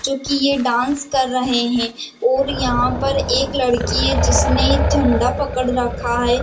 जो कि ये डांस कर रहे है और यहाँ पर एक लड़की है जिसने झंडा पकड़ रखा है।